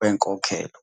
wenkokhelo".